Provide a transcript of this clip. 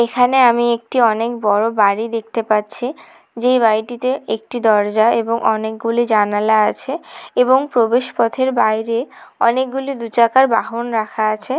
এখানে আমি একটি অনেক বড়ো বাড়ি দেখতে পাচ্ছি যে বাড়িটিতে একটি দরজা এবং অনেক গুলি জানালা আছে এবং প্রবেশ পথের বাইরে অনেকগুলি দু চাকার বাহন রাখা আছে।